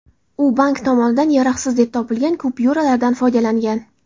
U bank tomonidan yaroqsiz deb topilgan kupyuralardan foydalangan.